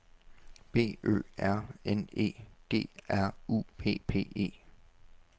B Ø R N E G R U P P E